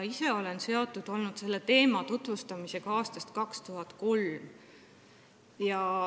Ise olen selle teema tutvustamisega seotud olnud aastast 2003.